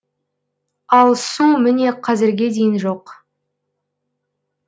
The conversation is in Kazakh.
ал су міне қазірге дейін жоқ